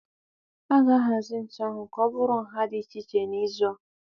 A ga-ahazi ntu ahụ ka ọ bụrụ nha dị iche iche n'izu a